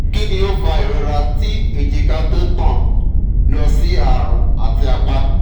kini o fa irora ti ejika to tan lo si arun ati apa?